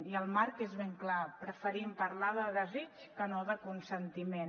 i el marc és ben clar preferim parlar de desig que no de consentiment